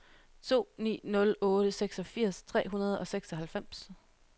to ni nul otte seksogfirs tre hundrede og seksoghalvfems